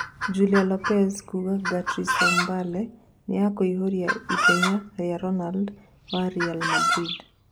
Julia Lopez kuuga Garitos Mbale 'nĩ ekũihuria ithenya' rīa Ronando wa Ri Mandrinda.